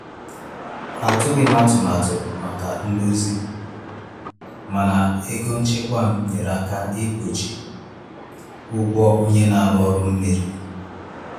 Atụghị m atụmatụ maka ndozi, mana ego nchekwa m nyeere aka kpuchie ụgwọ onye na-arụ ọrụ mmiri.